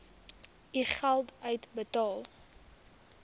u geld uitbetaal